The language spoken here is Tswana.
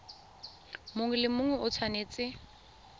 mongwe le mongwe o tshwanetse